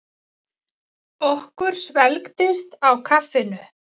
Okkur svelgdist á kaffinu.